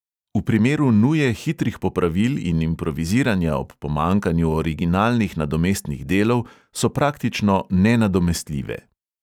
V primeru nuje hitrih popravil in improviziranja ob pomanjkanju originalnih nadomestnih delov so praktično nenadomestljive.